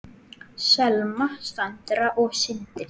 Selma, Sandra og Sindri.